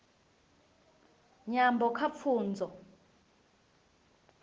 nyambo kha pfunzo